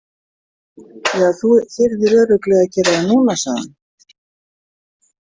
Ja, þú þyrðir örugglega að gera það núna, sagði hann.